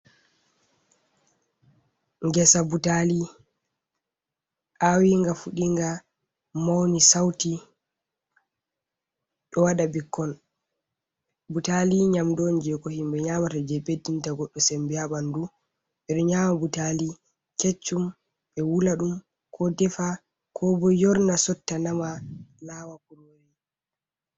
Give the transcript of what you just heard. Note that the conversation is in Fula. Ngesa butali awinga, fuɗinga, mauni sauti, ɗo waɗa bikkon, butali nyamdu'on jei ko himɓe nyamata jei ɓeddinta goɗdo sembe ha ɓandu, beɗo nyama butali keccum ɓe wula ɗum, ko defa koobo yorna sotta nama lawa kurori.